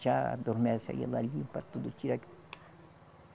Tchá, adormece aí ela limpa tudo, tira aqui.